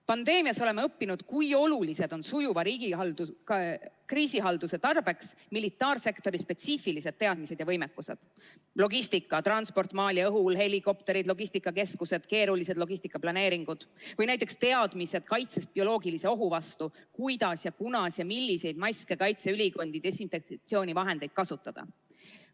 Pandeemia ajal oleme õppinud, kui olulised on sujuva kriisihalduse seisukohalt militaarsektori spetsiifilised teadmised ja võimekused, transport maal ja õhus, helikopterid, logistikakeskused, keerulised logistikaplaneeringud, samuti teadmised kaitsest bioloogilise ohu vastu: kuidas, kunas ja milliseid maske kanda, kuidas kaitseülikondi ja desinfektsioonivahendeid kasutada.